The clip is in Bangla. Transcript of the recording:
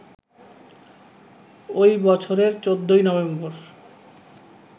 ওই বছরের ১৪ই নভেম্বর